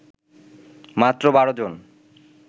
মাত্র ১২ জন